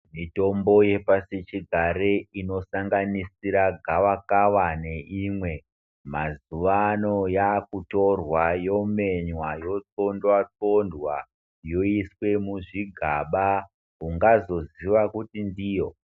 Mitombo yepasi chigare inosanganisira gavaka neimweni, mazuwano yakutorwa yomenywa yothondwa-thondwa yoiswe muzvigaba ungazoziya kuti ndiyo.